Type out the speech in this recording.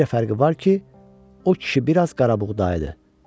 Bircə fərqi var ki, o kişi biraz qarabuğdayı idi.